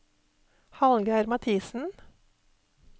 Hallgeir Mathisen